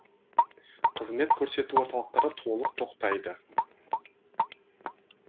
қызмет көрсету орталықтары толық тоқтайды